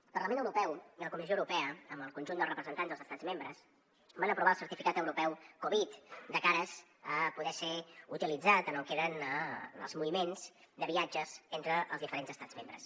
el parlament europeu i la comissió europea amb el conjunt dels representants dels estats membres van aprovar el certificat europeu covid de cara a poder ser utilitzat en el que eren els moviments de viatges entre els diferents estats membres